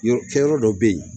Yɔrɔ kɛyɔrɔ dɔ be yen